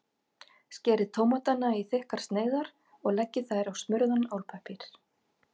Skerið tómatana í þykkar sneiðar og leggið þær á smurðan álpappír.